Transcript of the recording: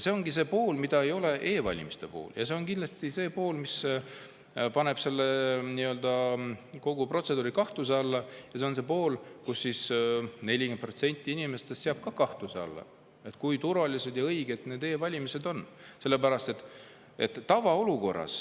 See ongi see pool, mida ei ole e-valimiste puhul, ja see on see pool, mis paneb kogu protseduuri kahtluse alla, nii et 40% inimestest seab kahtluse alla, kui turvalised ja õiged e-valimised on.